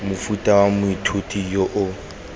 mofuta wa moithuti yo o